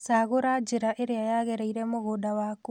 Cagura njĩra ĩrĩa yagĩrĩire mũgũnda waku